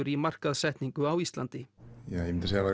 í markaðssetningu á Íslandi ég myndi segja að